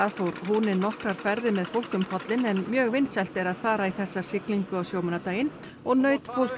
fór húni nokkrar ferðir með fólk um pollinn en mjög vinsælt er að fara í þessa siglingu á sjómannadaginn og naut fólk